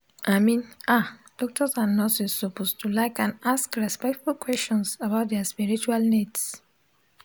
i min ah doctors and nurses suppose to like and ask respectful questions about dia spiritual needs